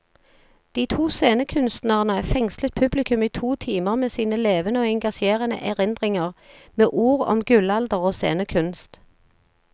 De to scenekunstnere fengslet publikum i to timer med sine levende og engasjerende erindringer, med ord om gullalder og scenekunst.